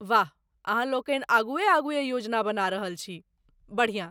वाह, अहाँलोकनि आगुए आगुए योजना बना रहल छी, बढ़िआँ।